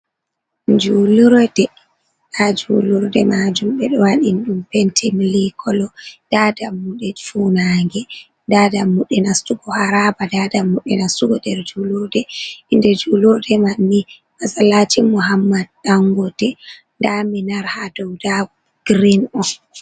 Julurde, ha julurde majum ɓeɗo waɗi ɗum pente milikolo, nda dammuɗe fanange, nda dammuɗe nastugo haraba, nda dammuɗe nastugo nder julurde. Inde julurde mammi masalacin muhammad ɗangote, nda minar ha dow dago girin on.